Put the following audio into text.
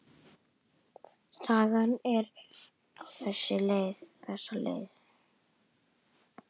Sagan er á þessa leið: